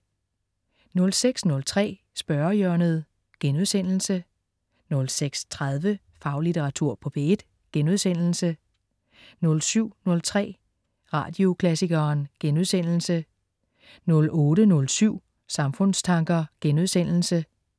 06.03 Spørgehjørnet* 06.30 Faglitteratur på P1* 07.03 Radioklassikeren* 08.07 Samfundstanker*